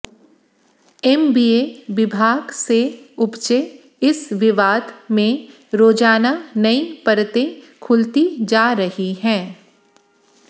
MBA विभाग से उपजे इस विवाद में रोजाना नई परतें खुलती जा रही हैं